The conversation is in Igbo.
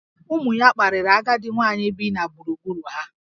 Ụmụ ya kparịrị agadi nwaanyị bi na gburugburu ha